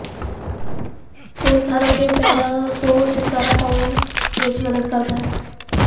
ਤੇਲ ਕਾਰਵ ਦੇ ਪੈਰਾਂ ਤੋਂ ਛੁਟਕਾਰਾ ਪਾਉਣ ਵਿਚ ਮਦਦ ਕਰਦਾ ਹੈ